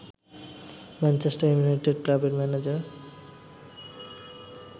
Manchester United ক্লাবের manager